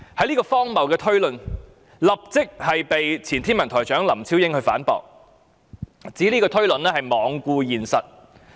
此荒謬的推論立即遭到前天文台台長林超英反駁，他指推論罔顧現實。